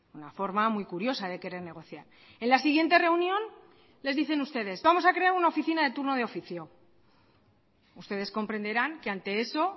una forma muy curiosa de querer negociar en la siguiente reunión les dicen ustedes vamos a crear una oficina de turno de oficio ustedes comprenderán que ante eso